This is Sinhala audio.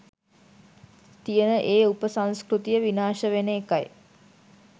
තියෙන ඒ උපසංස්කෘතිය විනාශ වෙන එකයි.